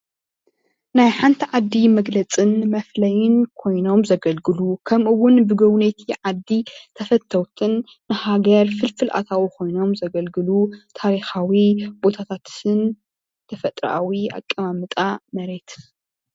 ናይ ሓንቲ ዓዲ መግለፅን መፍለይን ኮይኖም ዘገልግሉ ከምኡ እውን ብመጎብነይቲ ዓዲ ተፈተውትን ንሃገር ፍልፍል ኣታዊ ኮይኖም ዘገልግሉ ታሪካዊ ቦታታትን ተፈጥራኣዊ ኣቀማምጣ መሬትን